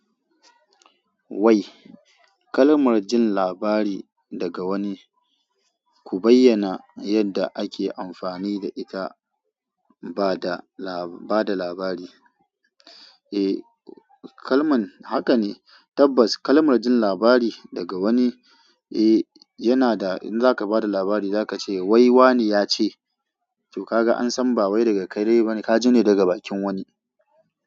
Wai kalmar jin labari daga wani, ku bayyana yadda ake amfani da ita ba da labari. Kalman haka ne tabbas kalmar jin labari daga wani yana da in zaka bada labari zaka ce wai wane yace ko kaga an san ba wai daga kai ba ne ka ji ne daga bakin wani.